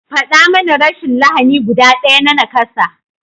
Faɗa mani rashin lahani guda ɗaya na nakasa?